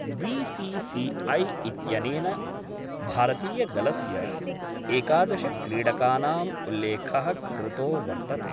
BCCI इत्यनेन भारतीयदलस्य एकादशक्रीडकानां उल्लेख: कृतो वर्तते